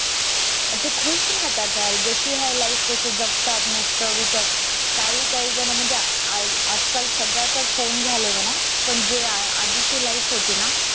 अते खुश राहतात यार जशी आहे life जगतात मस्त विट काही काही जण म्हणजे अं आज आजकाल सगळ्या कळे phone झाले म्हणा पण जे आधी ची life होती ना